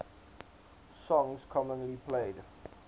songs commonly played